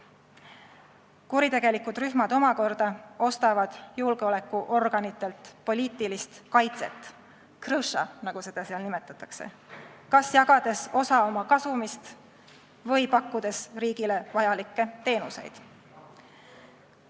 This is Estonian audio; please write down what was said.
Kuritegelikud rühmad omakorda ostavad julgeolekuorganitelt poliitilist kaitset – krõša't, nagu seda seal nimetatakse –, kas jagades neile osa oma kasumist või pakkudes riigile vajalikke teenuseid.